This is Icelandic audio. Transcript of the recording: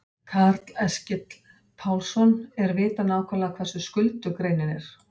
Karl Eskil Pálsson: Er vitað nákvæmlega hversu skuldug greinin er?